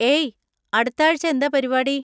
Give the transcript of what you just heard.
ഏയ്, അടുത്താഴ്‌ച്ച എന്താ പരിപാടി?